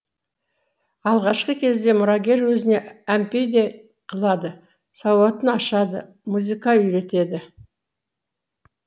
алғашқы кезде мұрагер өзіне әмпей де қылады сауатын ашады музыка үйретеді